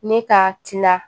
Ne ka tila